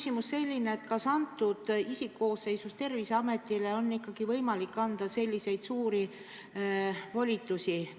Mul on selline küsimus: kas antud isikkoosseisus Terviseametile on ikkagi võimalik anda selliseid suuri volitusi?